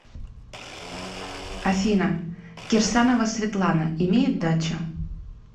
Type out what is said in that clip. афина кирсанова светлана имеет дачу